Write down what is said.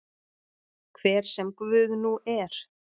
Hver sem Guð nú er.